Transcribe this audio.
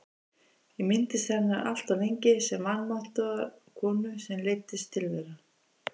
Ég minntist hennar alltof lengi sem vanmáttugrar konu sem leiddist tilveran.